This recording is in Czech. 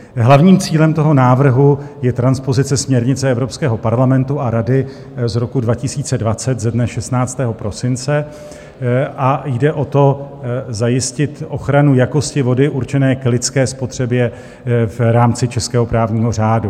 Hlavním cílem toho návrhu je transpozice směrnice Evropského parlamentu a Rady z roku 2020 ze dne 16. prosince a jde o to, zajistit ochranu jakosti vody určené k lidské spotřebě v rámci českého právního řádu.